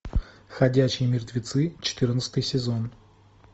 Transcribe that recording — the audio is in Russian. ходячие мертвецы четырнадцатый сезон